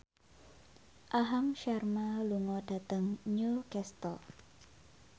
Aham Sharma lunga dhateng Newcastle